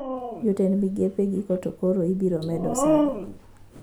Jotend migepe giko to kora iubiro med osara